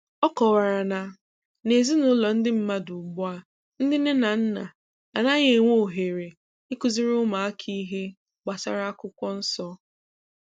ọ kọwara na n'ezinaụlọ ndị mmadụ ugbu a, ndị nne na nna anaghị e nwe ohere ikuziri ụmụaka ihe gbasara akwụkwọ nsọ.